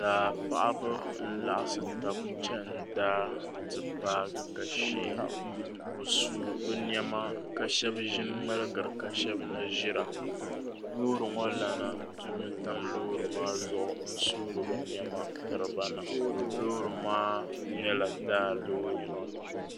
Daa paɣiba n-laɣisi taba chani daa ti paagi ka sheei bɛ suui bɛ nɛma ka shɛba ʒi ŋ-ŋmaligira ka shɛba na ʒira loori ŋɔ Lana dumi tam loori maa zuɣu n-suuri bɛ nɛma tiri ba na loori maa nyɛla daa loori.